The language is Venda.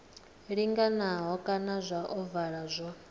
linganaho kana zwa ovala zwo